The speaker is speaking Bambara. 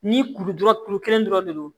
Ni kuru dɔrɔn kuru kelen dɔrɔn de do